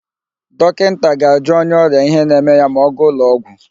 Dọkịnta ga-ajụ onye ọrịa ihe na-eme ya ma ọ gaa ụlọụgwọ.